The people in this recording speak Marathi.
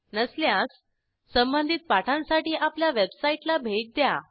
नसल्यास संबधित पाठांसाठी आपल्या वेबसाईटला भेट द्या